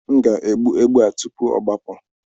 M ga-egbu ebe a tupu ọ gbapụ.